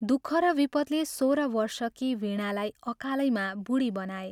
दुःख र विपदले सोह्र वर्षकी वीणालाई अकालैमा बूढी बनाए।